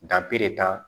ta